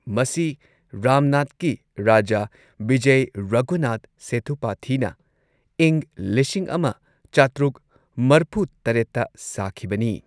ꯃꯁꯤ ꯔꯥꯝꯅꯥꯗꯀꯤ ꯔꯥꯖꯥ, ꯕꯤꯖꯢ ꯔꯘꯨꯅꯥꯊ ꯁꯦꯊꯨꯄꯥꯊꯤꯅ ꯏꯪ ꯂꯤꯁꯤꯡ ꯑꯃ ꯆꯥꯇ꯭ꯔꯨꯛ ꯃꯔꯐꯨ ꯇꯔꯦꯠꯇ ꯁꯥꯈꯤꯕꯅꯤ꯫